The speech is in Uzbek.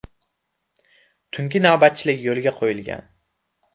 Tungi navbatchilik yo‘lga qo‘yilgan.